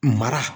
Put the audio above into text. Mara